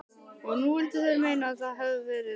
Og nú vildu þeir meina að það hefðu verið